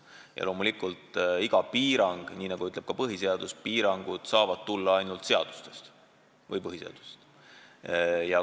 Ja loomulikult, nii nagu ütleb ka põhiseadus: piirangud saavad tulla ainult seadustest või põhiseadusest.